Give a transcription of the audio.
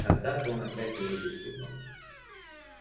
когда-то он опять увидит его